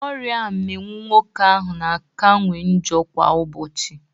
Ọrịa mminwụ nwoke ahụ na akawanye njọ kwa ụbọchị.